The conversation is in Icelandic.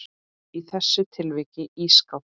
Í þessu tilviki ísskáp.